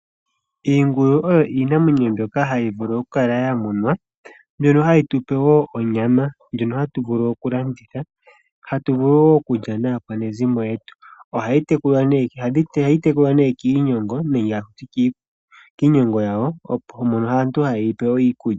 Iingulu oyo iinamwenyo mbyoka hayi vulu okukala ya munwa ndjono hayi tu pe wo onyama ndjono hatu vulu okulanditha, hatu vulu wo okulya wo naakwanezimo yetu. Ohayi tekulwa ne kiinyogo nenge haku ti kiinyogo yawo mono aantu hayi pe iikulya.